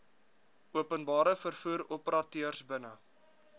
openbare vervoeroperateurs binne